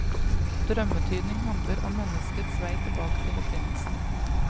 Drømmetydning handler om menneskets vei tilbake til opprinnelsen.